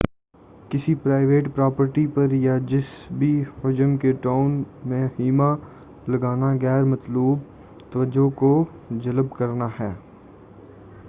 کسی private property پر یا جسی بھی حجم کے ٹاؤن میں خیمہ لگانا غیر مطلوب توجہ کو جلب کرنا ہے